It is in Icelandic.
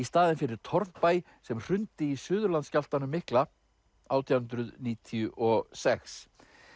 staðinn fyrir torfbæ sem hrundi í Suðurlandsskjálftanum mikla átján hundruð níutíu og sex